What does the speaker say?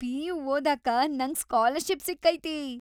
PU. ಓದಾಕ ನಂಗ್ scholarship ಸಿಕ್ಕೈತಿ.